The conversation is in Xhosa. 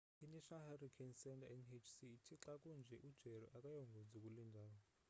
i-national hurricane center nhc ithi xa kunje u-jerry akayongozi kule ndawo